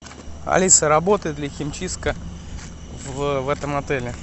алиса работает ли химчистка в этом отеле